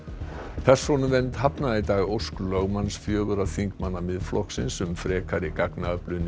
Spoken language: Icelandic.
persónuvernd hafnaði í dag ósk lögmanns fjögurra þingmanna Miðflokksins um frekari gagnaöflun í